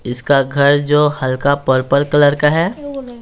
इसका घर जो हल्का पर्पल कलर का है।